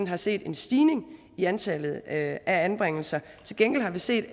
har set en stigning i antallet af anbringelser til gengæld har vi set